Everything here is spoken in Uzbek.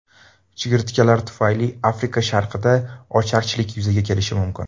Chigirtkalar tufayli Afrika sharqida ocharchilik yuzaga kelishi mumkin.